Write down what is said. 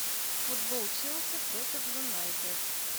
футбол челси против юнайтед